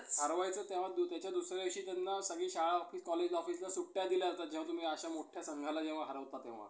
आणि काळोखात बोल बोलबोलना नाहिसा झाला पांडुरंग सदाशिव साने साने गुरुजींचा जन्म